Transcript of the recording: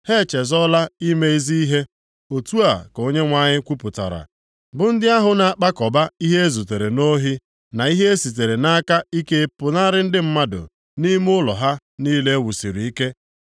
“Ha echezọọla ime ezi ihe.” Otu a ka Onyenwe anyị kwupụtara, “bụ ndị ahụ na-akpakọba ihe e zutere nʼohi na ihe e sitere nʼaka ike pụnara ndị mmadụ nʼime nʼụlọ ha niile e wusiri ike.”